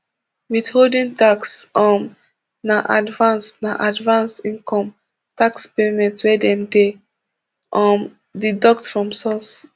withholding tax um na advance na advance income tax payment wey dem dey um deduct from source